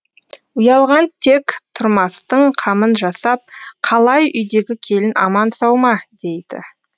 ұялған тек тұрмастың қамын жасап қалай үйдегі келін аман сау ма дейді